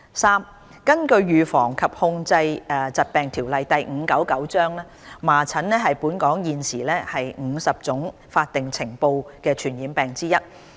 三根據《預防及控制疾病條例》，麻疹是本港現時50種法定須呈報的傳染病之一。